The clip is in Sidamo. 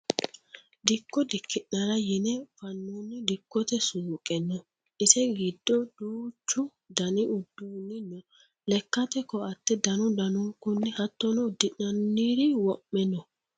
Dikko dikkinara yine fanonni dikkote suuqe no ise giddo duucho dani uduuni no lekkate koate danu danunkunni hattono udi'nanniri wo'me no